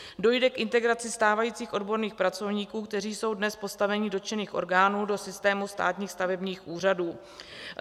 Dojde k integraci stávajících odborných pracovníků, kteří jsou dnes v postavení dotčených orgánů, do systému státních stavebních úřadů.